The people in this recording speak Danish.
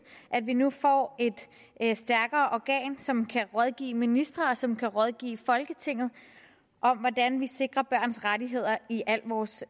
at vi nu får et stærkere organ som kan rådgive ministre og som kan rådgive folketinget om hvordan vi sikrer børns rettigheder i al vores